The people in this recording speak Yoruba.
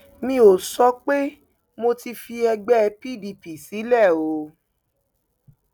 mi ò sọ pé mo ti fi ẹgbẹ pdp sílẹ o